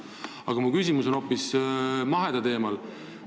Aga mu küsimus on hoopis mahetoodangu teemal.